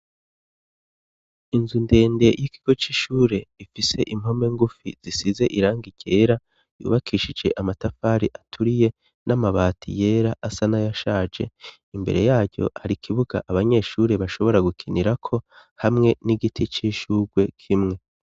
Inzu ndende y'ikigo c'ishure ifise impome ngufi zisize irangi ryera, ryubakishije amatafari aturiye, n'amabati yera asa nayashaje. Imbere yaco, har'ikibuga abanyeshuri bashobora gukinirako, hamwe n'igiti c'ishurwe kimwe.